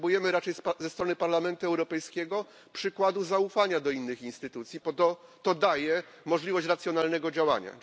Potrzebujemy raczej ze strony Parlamentu Europejskiego przykładu zaufania do innych instytucji, bo to daje możliwość racjonalnego działania.